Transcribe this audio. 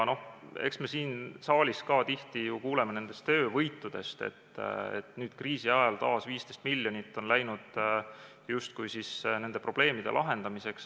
Eks me siin saalis ka tihti ju kuuleme nendest töövõitudest, et kriisiajal on taas 15 miljonit läinud justkui nende probleemide lahendamiseks.